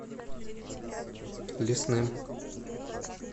лесным